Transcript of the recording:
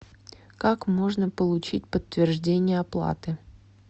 как можно получить подтверждение оплаты